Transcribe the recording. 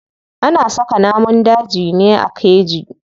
Ana saka namun dajin ne a keji.